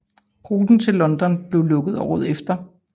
Ruten til London blev lukket året efter